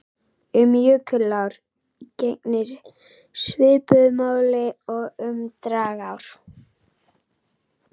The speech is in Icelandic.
Um jökulár gegnir svipuðu máli og um dragár.